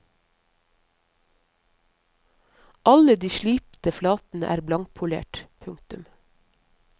Alle de slipte flatene er blankpolerte. punktum